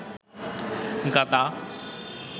গাদা